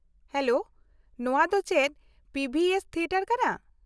Hello, ᱱᱚᱶᱟ ᱫᱚ ᱪᱮᱫ ᱯᱤ ᱵᱷᱤ ᱮᱥ ᱛᱷᱤᱭᱮᱴᱟᱨ ᱠᱟᱱᱟ ?